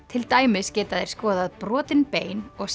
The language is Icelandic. til dæmis geta þeir skoðað brotin bein og